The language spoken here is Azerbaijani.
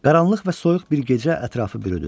Qaranlıq və soyuq bir gecə ətrafı bürüdü.